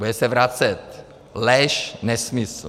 Bude se vracet. Lež, nesmysl!